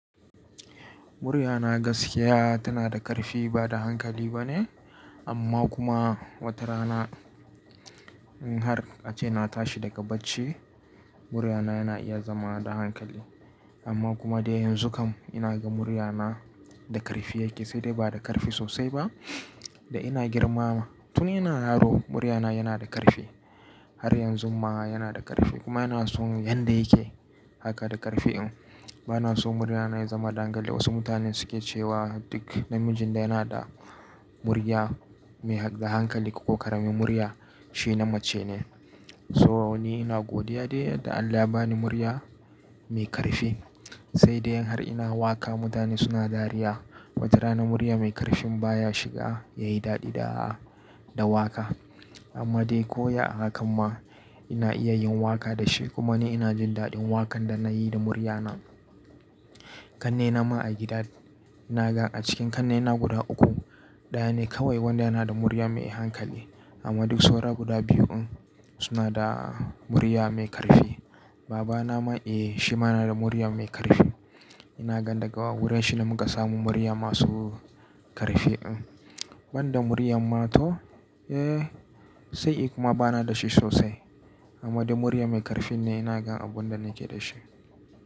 Muryana gaskiya tana da ƙarfi ba da hankali bane amma kuma watarana in har a ce na tashi daga bacci muryana yana iya zama da hankali. Amma kuma dai yanzu kam ina ga muryana da ƙarfi yake sai dai ba da ƙarfi sosai ba da ina girmama. Tun ina yaro muryana yana da ƙarfi har yanzu ma yana da ƙarfi kuma yana so yanda yake haka da ƙarfi in. Bana so muryana ya zama dangali wasu mutanen suke cewa duk namijin da yana da murya mai da hankali ko ƙaramin murya shi na mace ne. So ni ina godiya dai yadda Allah ya ba ni murya mai ƙarfi sai dai in har ina waƙa mutane suna dariya. Watarana murya mai ƙarfin baya shiga yayi daɗi da da waƙa. Amma dai koyya a hakan ma ina iya yin waƙa da shi kuma ni ina jin daɗin waƙan da na yi da muryana. Ƙannena ma a gida naga a cikin ƙannena guda uku ɗaya ne kawai wanda yana da murya mai hankali amma duk saura guda biyu in suna da murya mai ƙarfi. Babana ma eh shi ma yana da murya mai ƙarfi. Ina gan daga wurin shi ne muka samu murya masu ƙarfi in. Banda muryan ma to eh sai I kuma bana da shi sosai. Amma dai murya mai ƙarfi ne ina gan abunda nake da shi.